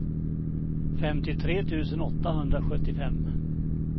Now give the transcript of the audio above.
femtiotre tusen åttahundrasjuttiofem